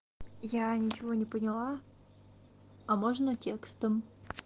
я ничего не поняла а можно текстом